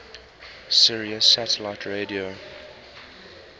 sirius satellite radio